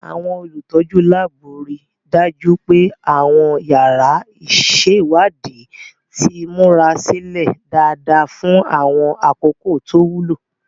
Àwọn olùtọ́jú láàbù rí i dájú pé àwọn yàrá ìṣèwádìí ti múra sílẹ̀ dáadáa fún àwọn àkókò tó wúlò.